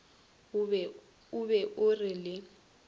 o be o re le